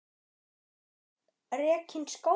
Þar var löngum rekinn skóli.